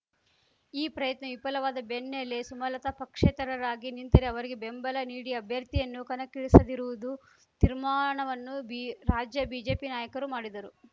ಈ ಪ್ರಯತ್ನ ವಿಫಲವಾದ ಬೆನ್ನಲ್ಲೆ ಸುಮಲತಾ ಪಕ್ಷೇತರರಾಗಿ ನಿಂತರೆ ಅವರಿಗೆ ಬೆಂಬಲ ನೀಡಿ ಅಭ್ಯರ್ಥಿಯನ್ನು ಕಣಕ್ಕಿಳಿಸದಿರುವುದು ತಿರ್ಮಾನವನ್ನು ಬಿ ರಾಜ್ಯ ಬಿಜೆಪಿ ನಾಯಕರು ಮಾಡಿದ್ದರು